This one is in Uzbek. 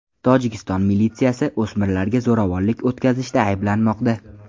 Tojikiston militsiyasi o‘smirlarga zo‘ravonlik o‘tkazishda ayblanmoqda.